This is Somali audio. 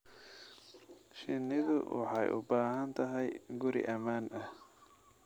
Shinnidu waxay u baahan tahay guri ammaan ah.